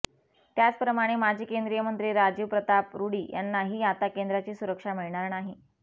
त्याचप्रमाणे माजी केंद्रीय मंत्री राजीव प्रताप रुडी यानांही आता केंद्राची सुरुक्षा मिळणार नाही